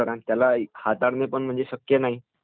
हो...आणि तिकडे नेणेही शक्य नाही